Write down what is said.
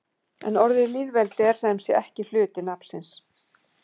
En orðið lýðveldi er sem sé ekki hluti nafnsins.